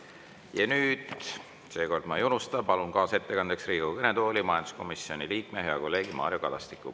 Ja nüüd, seekord ma ei unusta, palun kaasettekandeks Riigikogu kõnetooli majanduskomisjoni liikme, hea kolleegi Mario Kadastiku.